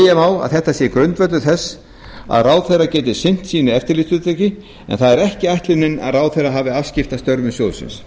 má að þetta sé grundvöllur þess að ráðherra geti sinnt sínu eftirlitshlutverki en það er ekki ætlunin að ráðherra hafi afskipti af störfum sjóðsins